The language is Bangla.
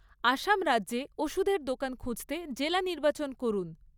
আসাম রাজ্যে ওষুধের দোকান খুঁজতে জেলা নির্বাচন করুন।